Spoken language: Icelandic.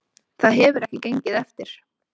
Það hefur ekki gengið eftir